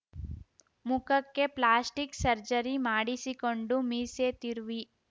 ಮುಖಕ್ಕೆ plastic surgery ಮಾಡಿಸಿಕೊಂಡು ಮೀಸೆ ತಿರುವಿ